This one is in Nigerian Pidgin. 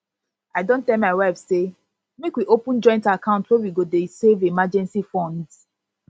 i don tell my wife say make we open joint account wey we go dey save emergency funds